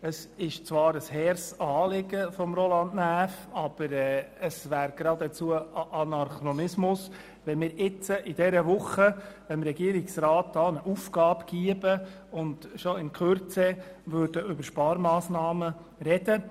Es ist zwar ein hehres Anliegen von Roland Näf, aber es wäre geradezu paradox, wenn wir jetzt dem Regierungsrat einen Auftrag erteilen und kurz darauf über Sparmassnahmen sprechen würden.